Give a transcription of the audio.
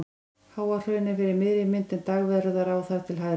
Háahraun er fyrir miðri mynd en Dagverðará þar til hægri.